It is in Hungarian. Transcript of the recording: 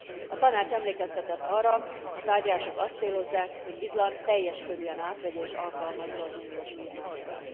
A Tanács emlékeztetett arra, a tárgyalások azt célozzák, hogy Izland teljes körűen átvegye és alkalmazza az uniós vívmányokat.